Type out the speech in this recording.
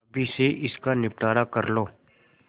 अभी से इसका निपटारा कर लो